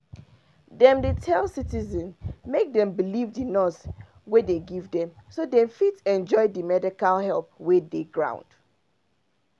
dem dey tell citizens make dem believe di nurse wey dem give dem so dem fit enjoy di medical help wey dey ground